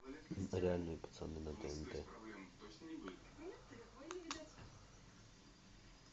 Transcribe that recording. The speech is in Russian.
реальные пацаны на тнт